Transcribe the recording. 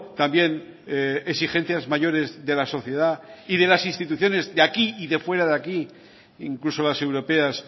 también exigencias mayores de la sociedad y de las instituciones de aquí y de fuera de aquí e incluso las europeas